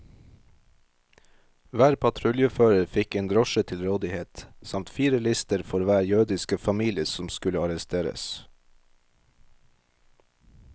Hver patruljefører fikk en drosje til rådighet, samt fire lister for hver jødiske familie som skulle arresteres.